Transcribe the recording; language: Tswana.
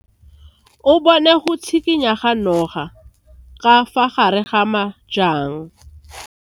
O bone go tshikinya ga noga ka fa gare ga majang.